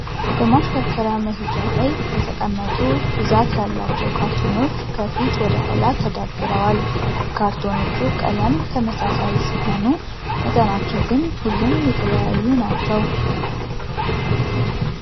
በማሽከርከሪያ መሄጃ ላይ የተቀመጡ ብዛት ያላቸው ያላቸው ካርቶኖች ከፊት ወደ ኋላ ተደርድረዋል። የካርቶኖቹም ቀለም ተመሳሳይ ሲሆኑ መጠናቸው ግን ሁሉም የተለያዩ ናቸው።